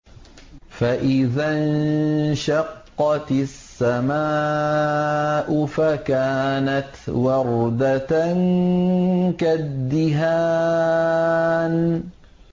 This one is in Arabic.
فَإِذَا انشَقَّتِ السَّمَاءُ فَكَانَتْ وَرْدَةً كَالدِّهَانِ